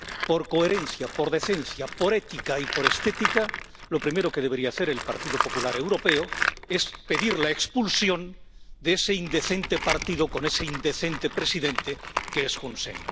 Por coherencia, por decencia, por ética y por estética, lo primero que debería hacer el Partido Popular Europeo es pedir la expulsión de ese indecente partido con ese indecente presidente que es Hun Sen.